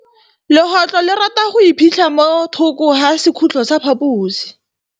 Legôtlô le rata go iphitlha mo thokô ga sekhutlo sa phaposi.